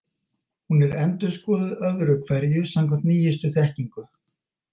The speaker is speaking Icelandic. Hún er endurskoðuð öðru hverju samkvæmt nýjustu þekkingu.